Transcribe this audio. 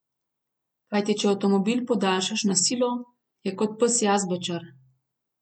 Kajti če avtomobil podaljšaš na silo, je kot pes jazbečar.